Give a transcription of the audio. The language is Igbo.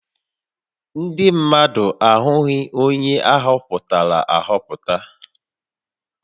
Ndị mmadụ ahụghị onye a họpụtara ahọpụta